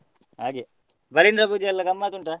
ಹಾಗೆ ಬಲೀಂದ್ರ ಪೂಜೆಯೆಲ್ಲ ಗಮ್ಮತ್ ಉಂಟಾ?